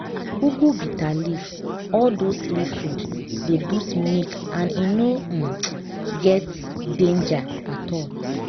ugu bitterleaf all those leaf food dey boost breast milk and e no um get um danger at all.